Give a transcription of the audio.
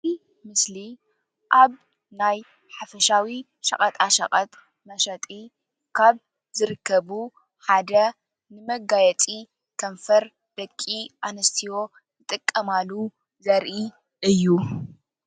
እዚ ምሰሊ አብ ናይ ሓፈሻዊ ሸቀጣሸቀጥ መሸጢ ካብ ዝርከቡ ሓደ መጋየፂ ከንፈር ደቂ አንስትዮ ዝጥቀማሉ ዘርኢ እዪ።